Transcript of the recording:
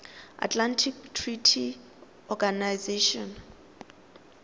atlantic treaty organization